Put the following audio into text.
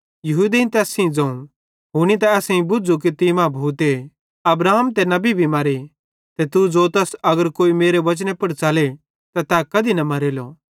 यहूदेईं तैस सेइं ज़ोवं हुनी त असेईं भुझ़ू कि तीं मां भूते अब्राहम ते नबी भी मरे ते तू ज़ोतस अगर कोई मेरे वचने पुड़ च़ले त तै कधी न मरेलो